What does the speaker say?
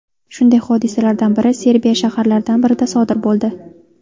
Shunday hodisalardan biri Serbiya shaharlaridan birida sodir bo‘ldi.